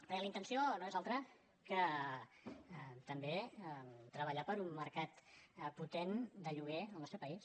perquè la intenció no és altra que també treballar per un mercat potent de lloguer al nostre pa·ís